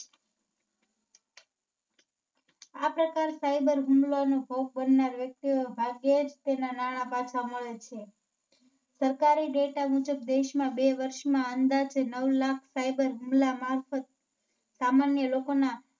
આ પ્રકાર Cyber હુમલા ના ભોગ બનનાર વ્યક્તિઓ ભાગ્યે જ તેના નાણાં પાછા મેળવે છે. સરકારી Data મુજબ દેશમાં બે વર્ષ માં અંદાજે નવ લાખ Cyber humla મારફત સામાન્ય લોકો ના